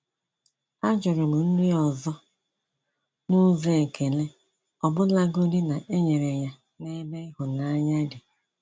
A jụrụ m nri ọzọ n’ụzọ ekele, ọbụlagodi na e nyere ya n’ebe ịhụnanya dị.